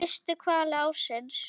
Fyrstu hvali ársins?